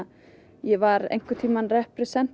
ég var einhvern tímann